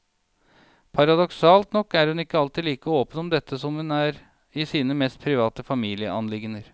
Paradoksalt nok er hun ikke alltid like åpen om dette som hun er i sine mest private familieanliggender.